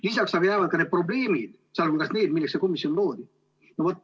Lisaks jäävad probleemid, sh need, milleks see komisjon loodi.